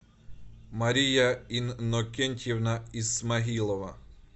мария иннокентьевна исмаилова